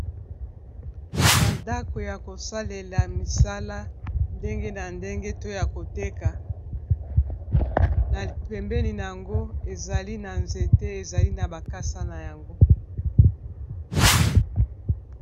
bandako ya kosalela misala ndenge na ndenge to ya koteka na pembeni na yango ezali na nzete ezali na bakasa na yango